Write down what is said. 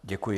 Děkuji.